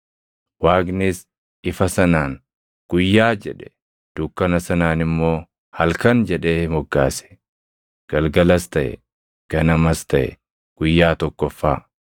Waaqnis ifa sanaan “Guyyaa” jedhe; dukkana sanaan immoo “Halkan” jedhee moggaase. Galgalas taʼe; ganamas taʼe; guyyaa tokkoffaa.